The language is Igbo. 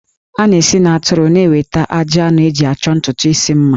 A na-esi n'atụrụ na-enweta ajị anụ eji achọ ntutu isi mma